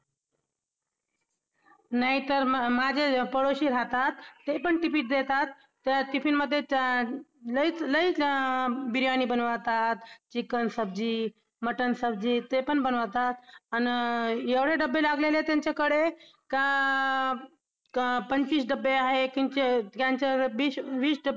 त्या प्रदेशातील कवींपेक्षा कमी पर्जन्यमान असलेला कोरडवाहू दुष्काळग्रस्त भागातील कवींना पावसावर जरा जास्तच कविता सुचतात त्यांच्या कडून लिहिल्या जातात माणसंही तसंच काहीस अस होत असावं